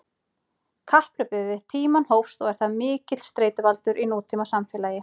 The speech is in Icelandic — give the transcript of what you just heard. Kapphlaupið við tímann hófst og er það mikill streituvaldur í nútímasamfélagi.